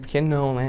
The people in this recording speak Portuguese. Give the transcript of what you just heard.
Por que não, né?